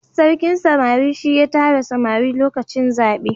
sarkin samari shi ya tara samari lokacin zabe